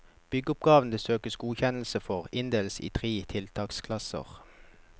Byggeoppgavene det søkes godkjennelse for inndeles i tre tiltaksklasser.